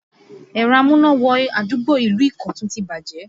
Ẹ̀rọ amúná-wọ-adúgbò ìlú Ikotun ti bàjẹ́